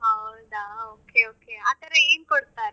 ಹೌದಾ okay okay ಆತರ ಏನ್ ಕೊಡ್ತಾರೆ?